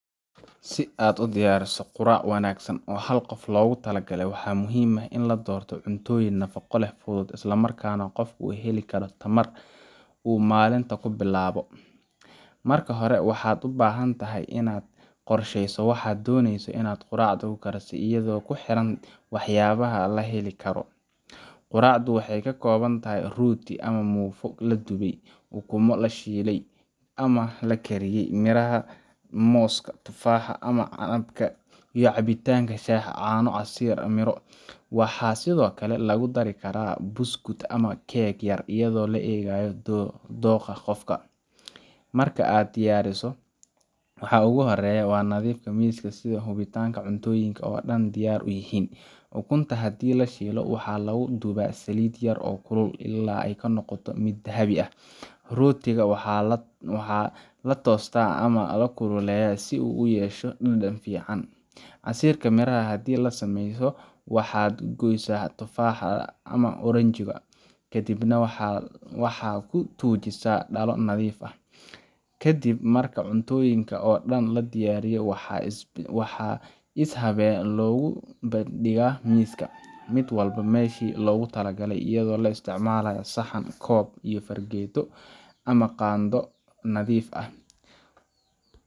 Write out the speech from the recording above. Si aad u diyaariso quraac wanaagsan oo hal qof loogu talagalay, waxaa muhiim ah in la doorto cuntooyin nafaqo leh, fudud, islamarkaana qofku ka heli karo tamar uu maalinta ku bilaabo. Marka hore, waxaad u baahan tahay inaad qorsheysato waxa aad dooneyso in quraacda ku darsato, iyadoo ku xiran waxyaabaha la heli karo. Quraacdu waxay ka kooban tahay rooti ama muufo la dubay, ukumo la shiilay ama la kariyey, miraha sida mooska, tufaaxa, ama canabka, iyo cabitaan sida shaah, caano ama casiir miro. Waxaa sidoo kale lagu dari karaa buskud ama keeg yar, iyadoo la eegayo dookha qofka. Marka aad diyaariso, waxa ugu horreeya waa nadiifinta miiska iyo hubinta in cuntooyinka oo dhan diyaar yihiin. Ukunta, haddii la shiilayo, waxaa lagu dubaa saliid yar oo kulul, ilaa ay ka noqoto mid dahabi ah. Rootiga waxaa la toostaa ama la kululeeyaa si uu u yeesho dhadhan fiican. Casiirka miraha haddii la samaynayo, waxaad goysaa tufaax ama oranjo, kadibna waxaad ku tuujisaa dhalo nadiif ah. Ka dib marka cuntooyinka oo dhan la diyaariyo, waxaa si habeysan loogu soo bandhigayaa miiska mid walba meeshii loogu talagalay – iyadoo la isticmaalayo saxan, koob, iyo fargeeto ama qaaddo nadiif ah.